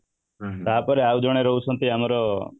ତାପରେ ଆଉ ଜଣେ ରହୁଛନ୍ତି ଆମର